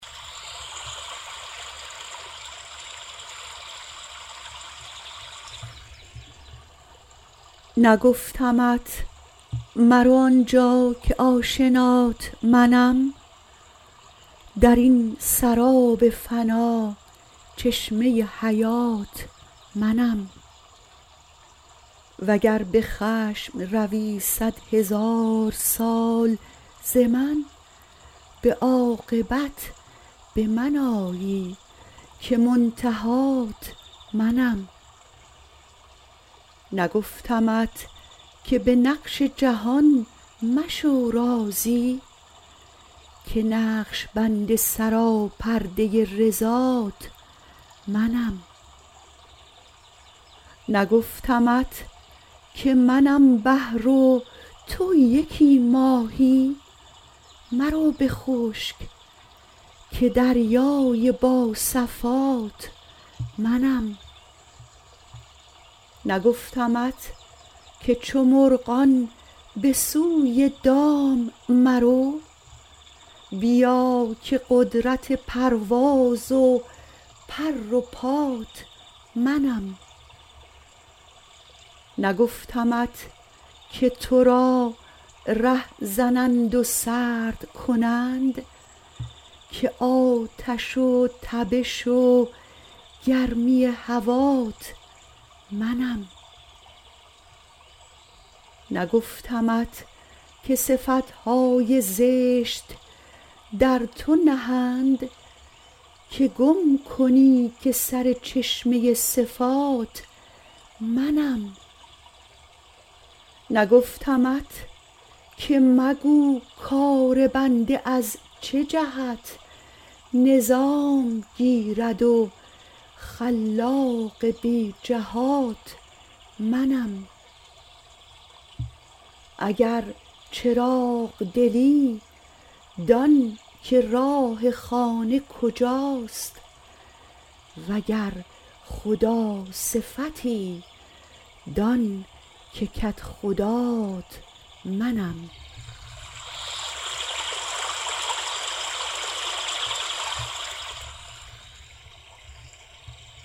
نگفتمت مرو آنجا که آشنات منم در این سراب فنا چشمه حیات منم وگر به خشم روی صدهزار سال ز من به عاقبت به من آیی که منتهات منم نگفتمت که به نقش جهان مشو راضی که نقش بند سراپرده رضات منم نگفتمت که منم بحر و تو یکی ماهی مرو به خشک که دریای با صفات منم نگفتمت که چو مرغان به سوی دام مرو بیا که قدرت پرواز و پر و پات منم نگفتمت که تو را ره زنند و سرد کنند که آتش و تبش و گرمی هوات منم نگفتمت که صفت های زشت در تو نهند که گم کنی که سر چشمه صفات منم نگفتمت که مگو کار بنده از چه جهت نظام گیرد خلاق بی جهات منم اگر چراغ دلی دان که راه خانه کجاست وگر خداصفتی دان که کدخدات منم